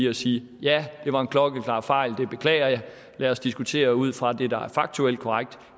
at sige ja det var en klokkeklar fejl det beklager jeg lad os diskutere ud fra det der er faktuelt korrekt